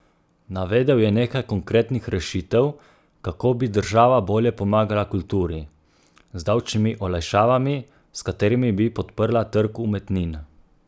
Navedel je nekaj konkretnih rešitev, kako bi država bolje pomagala kulturi: "Z davčnimi olajšavami, s katerimi bi podprla trg umetnin.